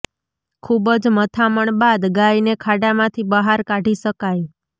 ખુબ જ મથામણ બાદ ગાયને ખાડામાંથી બહાર કાઢી શકાઈ